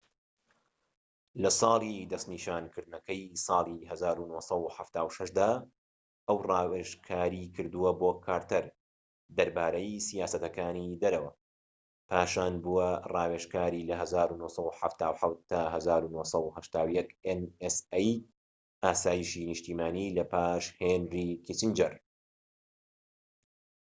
لە ساڵی دەستنیشانکردنەکەی ساڵی ١٩٧٦ دا، ئەو ڕاوێژکاری کردووە بۆ کارتەر دەربارەی سیاسەتی دەرەوە، پاشان بووە ڕاوێژکاری ئاسایشی نیشتیمانی nsa لە ١٩٧٧ تا ١٩٨١ لە پاش هێنری کیسینجەر